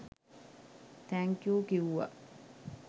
Thank you කිව්වා.